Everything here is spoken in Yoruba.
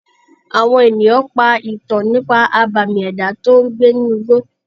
Àwọn ènìyàn pa ìtàn nípa àbàmì ẹ̀dá tó ń gbé inú igbó.